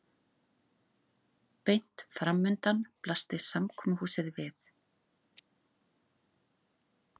Beint framundan blasti samkomuhúsið við.